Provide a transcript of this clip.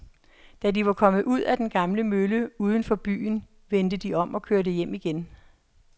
Da de var kommet ud til den gamle mølle uden for byen, vendte de om og kørte hjem igen.